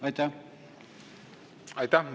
Aitäh!